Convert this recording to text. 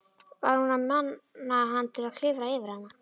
Var hún að mana hann til að klifra yfir hana?